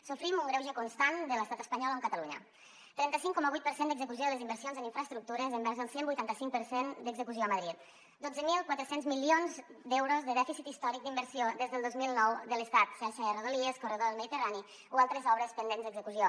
sofrim un greuge constant de l’estat espanyol amb catalunya trenta cinc coma vuit per cent d’execució de les inversions en infraestructures envers el cent i vuitanta cinc per cent d’execució a madrid dotze mil quatre cents milions d’euros de dèficit històric d’inversió des del dos mil nou de l’estat xarxa de rodalies corredor mediterrani o altres obres pendents d’execució